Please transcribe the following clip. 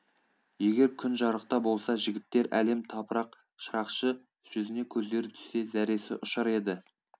егер күн жарықта болса жігіттер әлем тапырақ шырақшы жүзіне көздері түссе зәресі ұшар еді